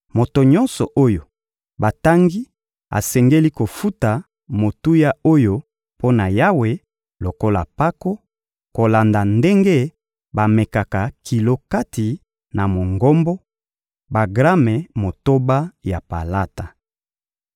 Moto nyonso oyo batangi asengeli kofuta motuya oyo mpo na Yawe lokola mpako, kolanda ndenge bamekaka kilo kati na Mongombo: bagrame motoba ya palata.